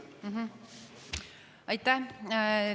Aitäh!